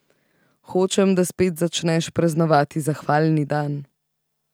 Hočem, da spet začneš praznovati zahvalni dan.